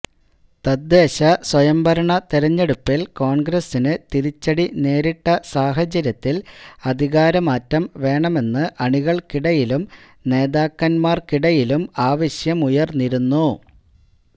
തദ്ദേശസ്വയംഭരണ തെരെഞ്ഞെടുപ്പിൽ കോൺഗ്രസിന് തിരിച്ചടി നേരിട്ട സാഹചര്യത്തിൽ അധികാരമാറ്റം വേണമെന്ന് അണികൾക്കിടയിലും നേതാക്കന്മാർക്കിടയിലും ആവശ്യമുയർന്നിരുന്നു